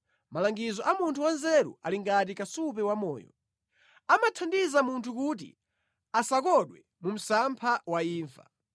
Malangizo a munthu wanzeru ali ngati kasupe wamoyo; amathandiza munthu kuti asakondwe mu msampha wa imfa.